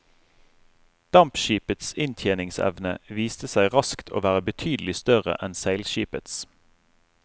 Dampskipets inntjeningsevne viste seg raskt å være betydelig større enn seilskipets.